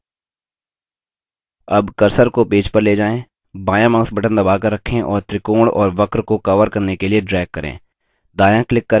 अब cursor को page पर ले जाएँ बायाँ mouse button दबाकर रखें और त्रिकोण और वक्र को cover करने के लिए drag करें